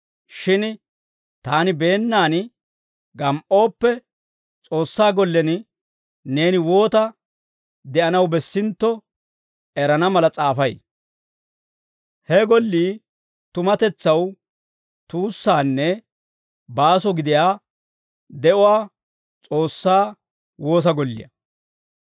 Shin taani beennaan gam"ooppe, S'oossaa gollen neeni woota de'anaw bessintto erana mala s'aafay. He gollii tumatetsaw tuussaanne baaso gidiyaa de'uwaa S'oossaa woosa golliyaa.